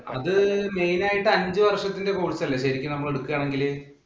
അത് main ആയിട്ട് അഞ്ചു വര്‍ഷത്തിന്‍റെ course അല്ലേ ശരിക്കും നമ്മള്‍ എടുക്കുകയാണെങ്കില്.